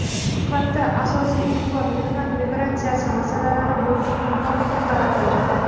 Suhbatda asosiy e’tibor mehnat migratsiyasi masalalari bo‘yicha hamkorlikka qaratildi.